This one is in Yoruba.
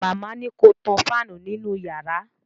Màmá ni ko tan fáànù nínú yàrá